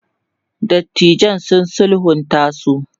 dattijan sun sulhunta su